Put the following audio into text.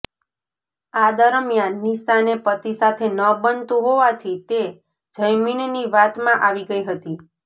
આ દરમિયાન નિશાને પતિ સાથે ન બનતું હોવાથી તે જયમીનની વાતમાં આવી ગઇ હતી